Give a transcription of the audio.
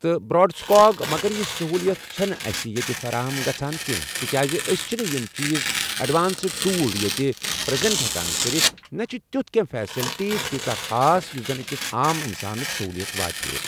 تہٕ bird squawk مگر یہِ سہوٗلیت چھِنہٕ اَسِہ ییٚتہِ فراہم گژھان کینٛہہ تِکیازِ أسۍ چھِنہٕ یِم چیٖز اٮ۪ڈوانسٕڈ ٹوٗل ییٚتہِ پرٛیزَنٛٹ ہٮ۪کان کٔرِتھ، نہ چھِ تیُٚتھ کینٛہہ فیسَلٹی تیٖژاہ خاص یُس زَن أکِس عام اِنسانَس سہوٗلیت واتہِ ہے۔